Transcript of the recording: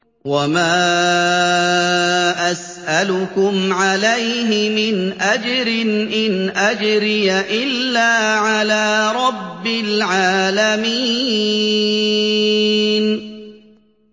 وَمَا أَسْأَلُكُمْ عَلَيْهِ مِنْ أَجْرٍ ۖ إِنْ أَجْرِيَ إِلَّا عَلَىٰ رَبِّ الْعَالَمِينَ